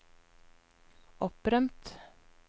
opprømt